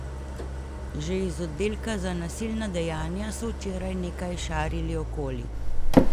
Že iz oddelka za nasilna dejanja so včeraj nekaj šarili okoli.